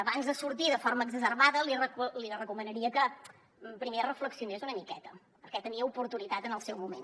abans de sortir de forma exacerbada li recomanaria que primer reflexionés una miqueta perquè tenia oportunitat en el seu moment